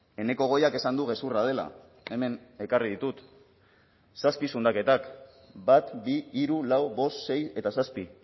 eneko goiak esan du gezurra dela hemen ekarri ditut zazpi zundaketak bat bi hiru lau bost sei eta zazpi